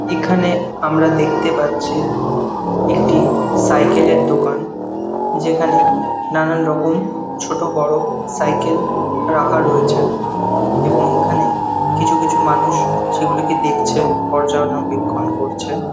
এখানে আমরা দেখতে পাচ্ছি একটি সাইকেলে র দোকান যেখানে নানান রকম ছোট বড় সাইকেল রাখা রয়েছে এবং এখানে কিছু কিছু মানুষ সেগুলোকে দেখছে পর্যানুবেক্ষণ করছে।